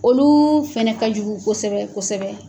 Olu fɛnɛ ka jugu kosɛbɛ kosɛbɛ